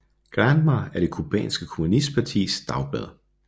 Granma er det cubanske kommunistpartis dagblad